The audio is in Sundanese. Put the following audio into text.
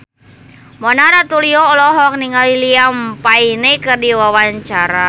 Mona Ratuliu olohok ningali Liam Payne keur diwawancara